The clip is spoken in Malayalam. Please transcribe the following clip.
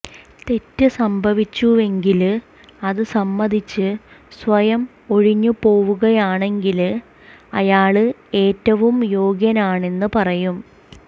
തെറ്റ് സംഭവിച്ചുവെങ്കില് അത് സമ്മതിച്ച് സ്വയം ഒഴിഞ്ഞുപോവുകയാണെങ്കില് അയാള് ഏറ്റവും യോഗ്യനാണെന്ന് പറയും